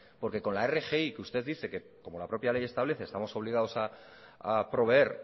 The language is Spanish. porque con la rgi que usted dice que como la propia ley establece estamos obligados a proveer